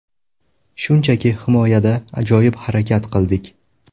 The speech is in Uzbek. Shunchaki himoyada ajoyib harakat qildik.